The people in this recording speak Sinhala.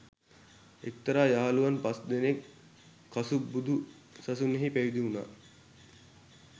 එක්තරා යහළුවන් පස් දෙනෙක් කසුප් බුදු සසුනෙහි පැවිදි වුණා